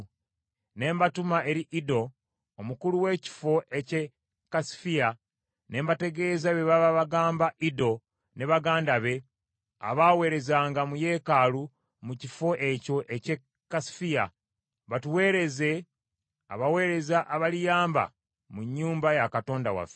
ne mbatuma eri Iddo omukulu w’ekifo eky’e Kasifiya, ne mbategeeza bye baba bagamba Iddo ne baganda be, abaaweerezanga mu yeekaalu mu kifo ekyo eky’e Kasifiya, batuuweereze abaweereza abaliyamba mu nnyumba ya Katonda waffe.